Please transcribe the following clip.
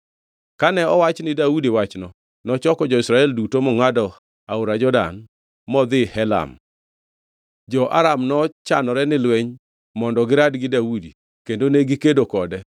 Kane owach ni Daudi wachno, nochoko jo-Israel duto, mongʼado aora Jordan modhi Helam. Jo-Aram nochanore ni lweny mondo girad gi Daudi kendo negikedo kode.